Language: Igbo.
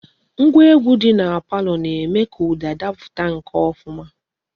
Ngwa egwu di na palo na-eme ka uda daputa ofuma.